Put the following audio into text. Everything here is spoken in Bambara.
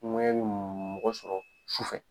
Ŋuwɛɲɛ mɔgɔ sɔrɔ sufɛ.